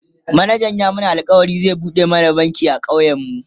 manajan ya mana alkawalin zai buɗe mana banki a ƙauyen mu